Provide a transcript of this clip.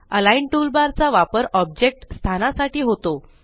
align toolbar चा वापर object स्थानासाठी होतो